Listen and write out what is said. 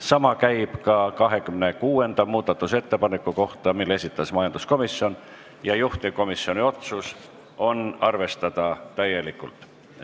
Sama käib ka 26. muudatusettepaneku kohta, mille esitas majanduskomisjon: juhtivkomisjoni otsus on arvestada seda täielikult.